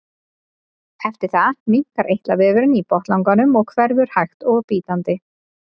eftir það minnkar eitlavefurinn í botnlanganum og hverfur hægt og bítandi